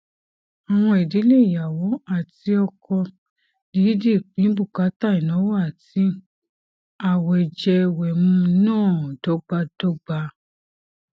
àwọn ìdílé ìyàwó àti ọkọ dìídì pín bùkátà ìnáwó àti àwẹjẹwẹmu náà dọgbadọgba